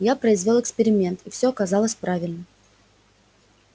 я произвёл эксперимент и все оказалось правильно